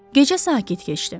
Gecə sakit keçdi.